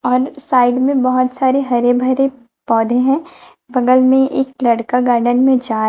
और साइड में बहोत सारे हरे भरे पौधे हैं बगल में एक लड़का गार्डन में जा--